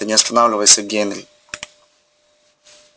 ты не останавливайся генри